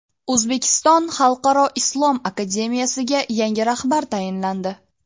O‘zbekiston xalqaro islom akademiyasiga yangi rahbar tayinlandi.